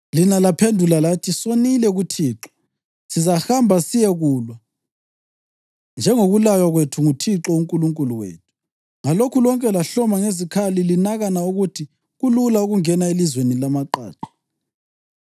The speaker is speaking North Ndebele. Lina laphendula lathi, ‘Sonile kuThixo. Sizahamba siyekulwa, njengokulaywa kwethu nguThixo uNkulunkulu wethu.’ Ngalokho lonke lahloma ngezikhali linakana ukuthi kulula ukungena elizweni lamaqaqa.